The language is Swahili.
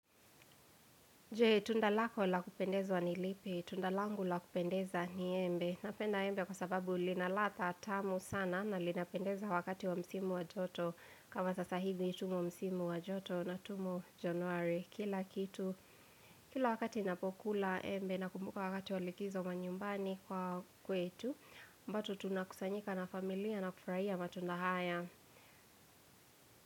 Je, tunda lako la kupendezwa ni lipi? Tunda langu la kupendeza ni embe. Napenda embe kwa sababu ilinaladha tamu sana na linapendeza wakati wa msimo wa joto. Kama sasa hivi tumo msimu wa joto na tumo januari kila kitu, Kila wakati ninapokula embe na kumbuka wakati walikizo manyumbani kwa kwetu. Bado tunakusanyika na familia na kufurahia matunda haya.